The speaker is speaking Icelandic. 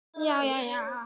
Þú fékkst far?